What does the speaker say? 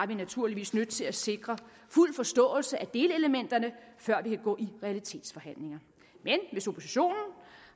vi naturligvis nødt til at sikre fuld forståelse af delelementerne før vi kan gå i realitetsforhandlinger men hvis oppositionen